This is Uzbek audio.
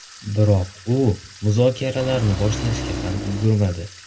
Biroq u muzokaralarni boshlashga ham ulgurmadi.